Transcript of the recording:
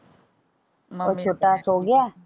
ਉਹ ਛੋਟਾ ਸੋ ਗਿਆ।